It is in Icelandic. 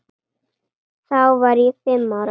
Þá var ég fimm ára.